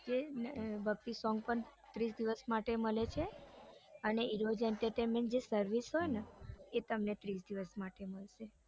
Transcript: જે ભક્તિ song પણ ત્રીસ દિવસ માટે મળે છે અને એનો જે service હોય ને એ તમને ત્રીસ દિવસ માટે મળશે